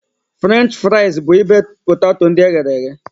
French fraịz bụ ibe poteto ndị eghere eghe.